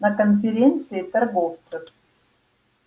на конференции торговцев